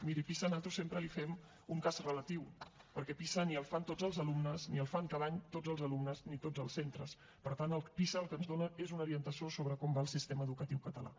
miri a pisa nosaltres sempre hi fem un cas relatiu perquè pisa ni el fan tots els alumnes ni el fan cada any tots els alumnes ni tots els centres per tant pisa el que ens dona és una orientació sobre com va el sistema educatiu català